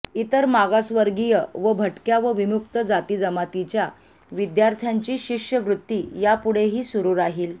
इतर मागासवर्गीय व भटक्या व विमुक्त जातीजमातीच्या विद्यार्थ्यांची शिष्यवृत्ती यापुढेही सुरू राहील